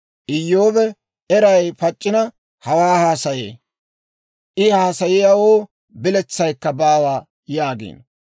‹Iyyoobe eray pac'c'ina, hawaa haasayee; I haasayiyaawoo biletsaykka baawa› yaagiino.